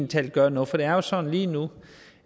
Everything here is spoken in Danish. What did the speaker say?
taget gør noget for det er jo sådan lige nu